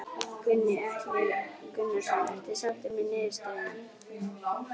Gunnar Atli Gunnarsson: Ertu sáttur með niðurstöðuna?